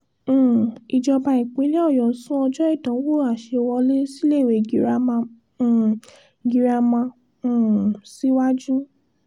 um ìjọba ìpínlẹ̀ ọ̀yọ́ sún ọjọ́ ìdánwò àṣẹwọlé síléèwé girama um girama um síwájú